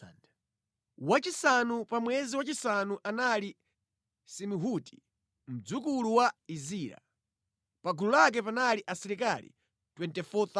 Wachisanu pa mwezi wachisanu anali Samihuti, mdzukulu wa Izira. Pa gulu lake panali asilikali 24,000.